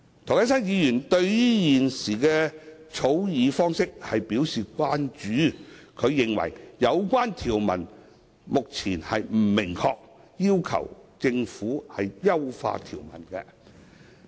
涂謹申議員對現時的草擬方式表示關注，他認為有關條文目前不明確，並要求政府優化條文。